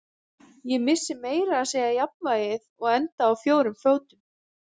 Ég missi meira að segja jafnvægið og enda á fjórum fót